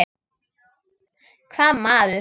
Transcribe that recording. Hvaða maður?